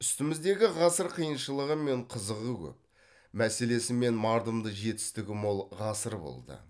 үстіміздегі ғасыр қиыншылығы мен қызығы көп мәселесі мен мардымды жетістігі мол ғасыр болды